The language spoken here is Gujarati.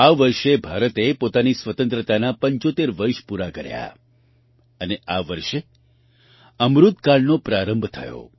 આ વર્ષે ભારતે પોતાની સ્વતંત્રતાનાં ૭૫ વર્ષ પૂરા કર્યાં અને આ વર્ષે અમૃત કાળનો પ્રારંભ થયો